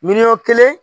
Miliyɔn kelen